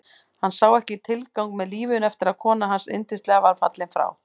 Hann sá ekki tilgang með lífinu eftir að konan hans yndislega var fallin frá.